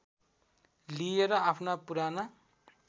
लिए र आफ्ना पुराना